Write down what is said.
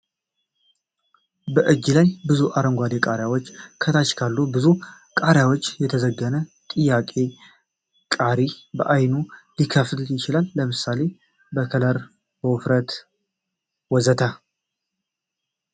በእጅ ላይ ብዙ አረንጓዴ ቃሪያዎች ከታች ካሉ ብዙ ቃሪያዎች የተዘገነ ፤ ጥያቄ ቃሪ በአይነቱ ሊከፋፈል ይችላል ለምሳሌ በከለር ፣ በውፍረት ወ.ዘ.ተ?